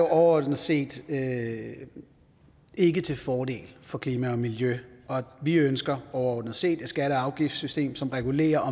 overordnet set ikke ikke til fordel for klima og miljø og vi ønsker overordnet set et skatte og afgiftssystem som regulerer